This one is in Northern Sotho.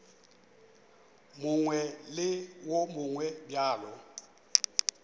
mongwe le wo mongwe bjalo